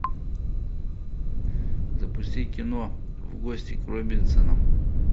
запусти кино в гости к робинсонам